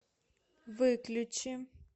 выключи